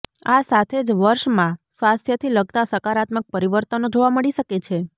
આ સાથે જ આ વર્ષ મા સ્વાસ્થ્ય થી લગતા સકારાત્મક પરિવર્તનો જોવા મળી શકે છે